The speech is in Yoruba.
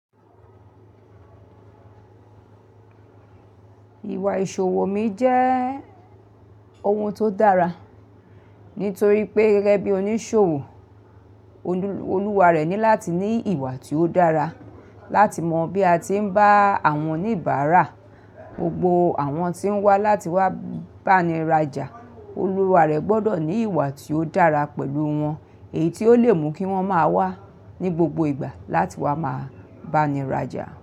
Ìwà ìṣòwò mi jẹ́ ohun tó dára, nítorí pé gẹ́gẹ́ bí oníṣòwò, Olúwa rẹ̀ ní láti ní ìwà tí ó dára, láti mọ bí a ti ń bá àwọn oníbàárà, gbogbo àwọn tí ń wá láti wá báni raja, olúwa rẹ̀ gbọ́dọ̀ ní ìwà tí ó dára pẹ̀lú wọn, èyí tí ó lè mú kí wọ́n máa wá ní gbogbo ìgbà láti wá máa báni raja.